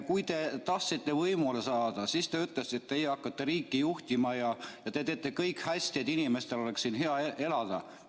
Kui te tahtsite võimule saada, siis te ütlesite, et teie hakkate riiki juhtima ja teete kõik hästi, et inimestel oleks siin hea elada.